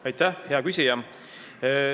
Aitäh, hea küsija!